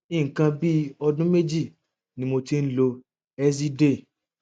nǹkan bí ọdún méjì ni mo ti ń lo eziday